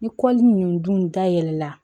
Ni kɔli ninnu dun dayɛlɛla